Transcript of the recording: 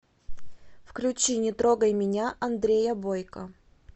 включи не трогай меня андрея бойко